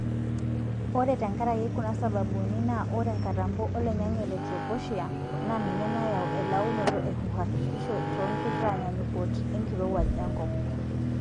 Ore tenkaraki kuna sababuni naa ore nkatampo oloingange le troposhere naa ninye naayau elaunoto e uhakikisho toonkitanyaanyukot enkirowuaj enkop.